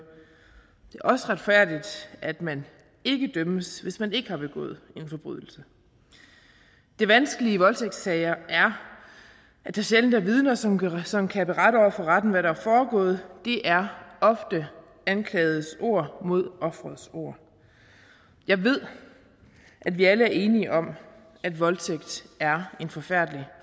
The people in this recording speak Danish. er også retfærdigt at man ikke dømmes hvis man ikke har begået en forbrydelse det vanskelige i voldtægtssager er at der sjældent er vidner som kan som kan berette over for retten hvad der er foregået det er ofte anklagedes ord mod offerets ord jeg ved at vi alle er enige om at voldtægt er en forfærdelig